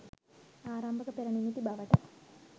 ආරම්භක පෙර නිමිති බවට